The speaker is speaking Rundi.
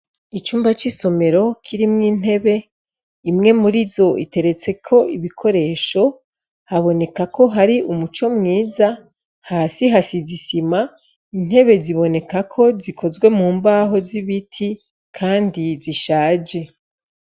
Icumba c'isomero kirimwo intebe, imwe muri zo iteretseko ibikoresho, haboneka ko hari umuco mwiza, hasi hasize isima, intebe ziboneka ko zikozwe mu mbaho z'ibiti, kandi zishaje.